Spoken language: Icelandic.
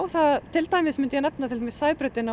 til dæmis myndi ég nefna Sæbrautina og